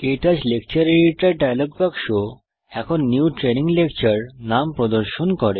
ক্টাচ lecture editor dialogue বাক্স এখন নিউ ট্রেইনিং লেকচার নাম প্রদর্শন করে